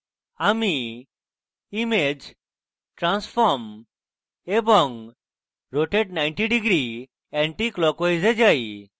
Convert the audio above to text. আমি image transform এবং rotate 90 degree anticlockwise এ যাই